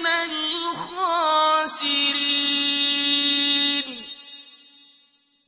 مِنَ الْخَاسِرِينَ